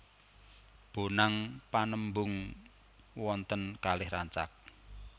Bonang Panembung wonten kalih rancak